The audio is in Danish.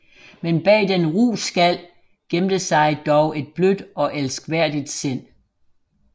Men bag den ru skal gemte sig dog et blødt og elskværdigt sind